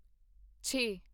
ਛੇ